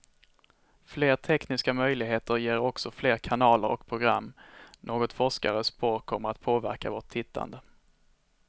Fler tekniska möjligheter ger också fler kanaler och program, något forskare spår kommer att påverka vårt tittande.